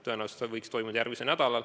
Tõenäoliselt võiks see toimuda järgmisel nädalal.